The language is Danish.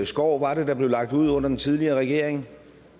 skov var det der blev lagt ud under den tidligere regering